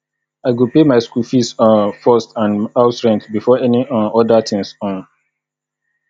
i go pay my school fees um first and house rent before any um other thing um